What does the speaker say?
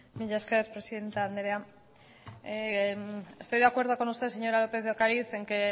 mila esker presidente anderea estoy de acuerdo con usted señora lópez de ocariz en que